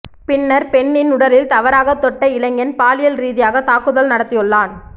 பின்னர் பெண்ணின் உடலில் தவறாக தொட்ட இளைஞன் பாலியல் ரீதியாக தாக்குதல் நடத்தியுள்ளான்